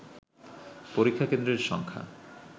পরীক্ষা কেন্দ্রের সংখ্যা